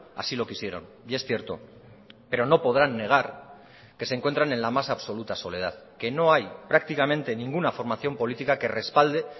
así lo quisieron y es cierto pero no podrán negar que se encuentran en la más absoluta soledad que no hay prácticamente ninguna formación política que respalde